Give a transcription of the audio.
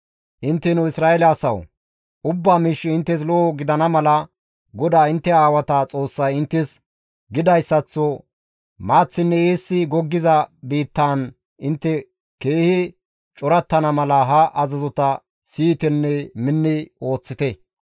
Intteno Isra7eele asawu! Ubba miishshi inttes lo7o gidana mala, GODAA intte aawata Xoossay inttes gidayssaththo maaththinne eessi goggiza biittaan intte keehi corattana mala ha azazota siyitenne minni ooththite.